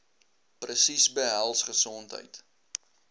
presies behels gesondheid